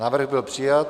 Návrh byl přijat.